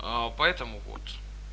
поэтому вот